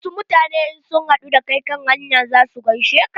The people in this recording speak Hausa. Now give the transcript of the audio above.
Wasu mutane in sun haɗu da kai kan hanya za su gaishe ka.